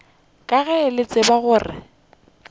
ka ge le tseba gore